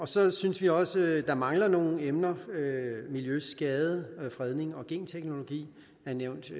så synes vi også at der mangler nogle emner miljøskade fredning og genteknologi er nævnt